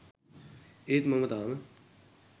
ඒත් මම තාම